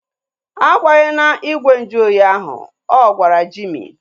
A gbahena igwe nju ahụ oyi ahu! Ọ gwara Jimi